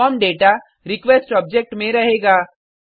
form data request object में रहेगा